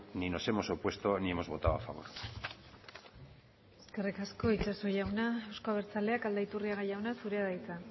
ni nos hemos opuesto ni hemos votado a favor eskerrik asko itxaso jauna euzko abertzaleak aldaiturriaga jauna zurea da hitza